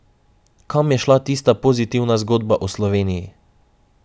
Kam je šla tista pozitivna zgodba o Sloveniji?